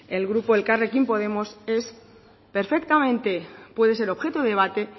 el grupo elkarrekin podemos puede ser perfectamente puede ser objeto de debate